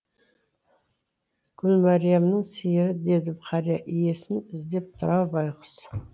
гүлмәриямның сиыры деді қария иесін іздеп тұр ау байқұс